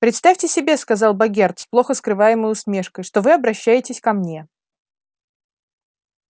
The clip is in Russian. представьте себе сказал богерт с плохо скрываемой усмешкой что вы обращаетесь ко мне